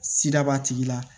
Sira b'a tigi la